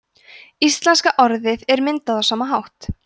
íslenska orðið er myndað á sama hátt